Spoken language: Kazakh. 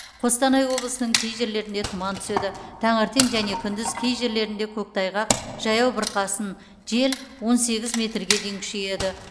қостанай облысының кей жерлерінде тұман түседі таңертең және күндіз кей жерлерінде көктайғақ жаяу бурқасын жел он сегіз метрге дейін күшейеді